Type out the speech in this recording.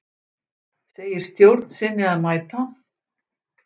Segir stjórn sinni að mæta